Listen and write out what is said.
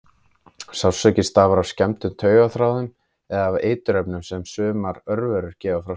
Sársauki stafar af skemmdum á taugaþráðum eða af eiturefnum sem sumar örverur gefa frá sér.